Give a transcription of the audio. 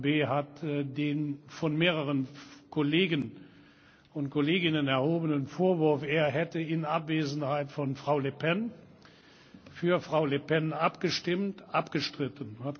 Herr Bay hat den von mehreren Kollegen und Kolleginnen erhobenen Vorwurf, er hätte in Abwesenheit von Frau Le Pen für Frau Le Pen abgestimmt, abgestritten.